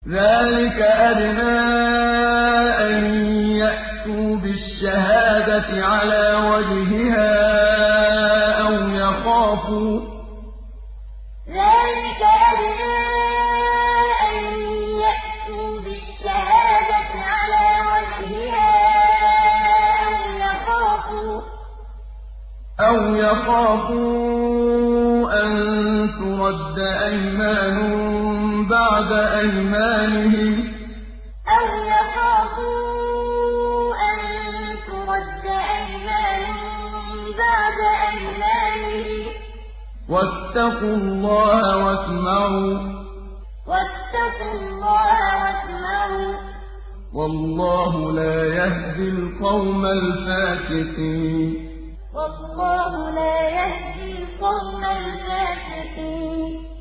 ذَٰلِكَ أَدْنَىٰ أَن يَأْتُوا بِالشَّهَادَةِ عَلَىٰ وَجْهِهَا أَوْ يَخَافُوا أَن تُرَدَّ أَيْمَانٌ بَعْدَ أَيْمَانِهِمْ ۗ وَاتَّقُوا اللَّهَ وَاسْمَعُوا ۗ وَاللَّهُ لَا يَهْدِي الْقَوْمَ الْفَاسِقِينَ ذَٰلِكَ أَدْنَىٰ أَن يَأْتُوا بِالشَّهَادَةِ عَلَىٰ وَجْهِهَا أَوْ يَخَافُوا أَن تُرَدَّ أَيْمَانٌ بَعْدَ أَيْمَانِهِمْ ۗ وَاتَّقُوا اللَّهَ وَاسْمَعُوا ۗ وَاللَّهُ لَا يَهْدِي الْقَوْمَ الْفَاسِقِينَ